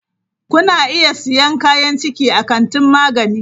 Kuna iya siyan kayan ciki a kantin magani.